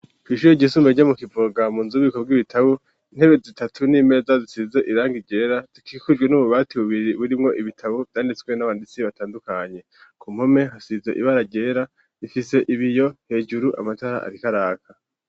Kw'ishure ryisumbuye ryo mu kiprogamu nzu b'ibiko bw'ibitabo intebe zitatu n'imeza zisize irang igera zikikujwe n'ububati bubiri burimwo ibitabo byanditswe n'abanditsi batandukanye ku mpume hasize ibara gera ifise ibiyo hejuru amatara ariko araka.